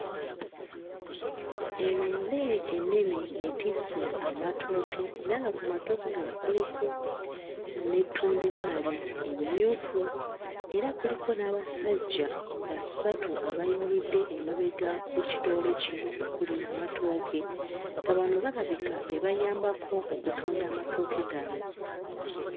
Eroole ennene etisse amatooke era nga ku matooke gano kuliko n'ettundubaali erimyufu era kuliko n'abasajja basatu abayimiridde emabega w'ekiroole kino okuli amatooke nga bano balabika be bayambako okutunda amatooke gano.